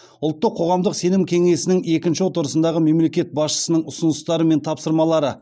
ұлттық қоғамдық сенім кеңесінің екінші отырысындағы мемлекет басшысының ұсыныстары мен тапсырмалары